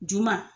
Juma